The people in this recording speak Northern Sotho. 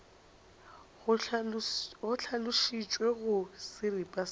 go hlalošitšwe go seripa sa